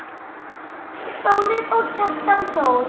Þórir og Kjartan Þór.